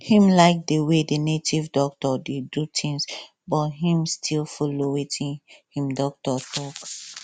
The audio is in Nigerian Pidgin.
him like the way the native doctor dey do things but him still follow watin him doctor talk